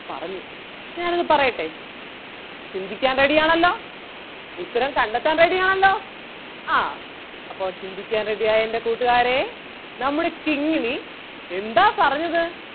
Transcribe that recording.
പറഞ്ഞു ഞാൻ അത് പറയട്ടേ ചിന്തിക്കാൻ ready ആണല്ലോ ഉത്തരം കണ്ടെത്താൻ ready ആണല്ലോ ആഹ് അപ്പം ചിന്തിക്കാൻ ready ആയ എൻ്റെ കൂട്ടുകാരേ നമ്മുടെ കിങ്ങിണി എന്താ പറഞ്ഞത്?